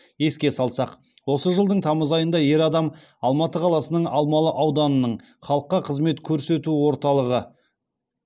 еске салсақ осы жылдың тамыз айында ер адам алматы қаласының алмалы ауданының халыққа қызмет көрсету орталығы